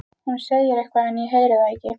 Hún segir eitthvað en ég heyri það ekki.